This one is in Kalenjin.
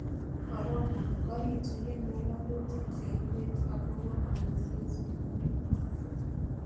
Corona:Korituyen ngololutiib cheibet agobo omisiiet nenyolunot.